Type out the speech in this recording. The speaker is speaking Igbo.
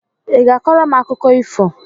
Ị ga-akọrọ m akụkọ ifo?